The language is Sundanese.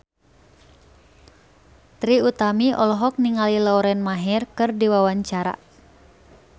Trie Utami olohok ningali Lauren Maher keur diwawancara